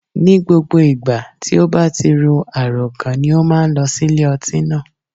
Ní gbogbo ìgbà tí ó bá ti ro àròkàn ni ó má a nlọ sí ilé ọtí náà